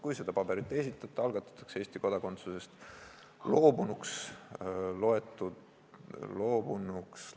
Kui seda paberit ei esitata, algatatakse Eesti kodakondsusest loobunuks lugemise menetlus.